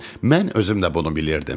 Mən özüm də bunu bilirdim.